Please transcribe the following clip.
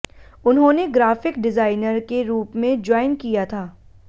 उन्होंने graphic designer के रूप में ज्वाइन किया था